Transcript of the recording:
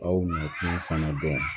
Aw nakun fana bɛ yen